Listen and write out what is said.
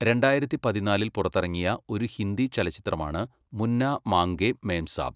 രണ്ടായിരത്തി പതിനാലിൽ പുറത്തിറങ്ങിയ ഒരു ഹിന്ദി ചലച്ചിത്രമാണ് മുന്ന മാംഗേ മേംസാബ്.